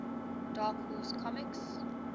dark horse comics